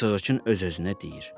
Sığırçın öz-özünə deyir.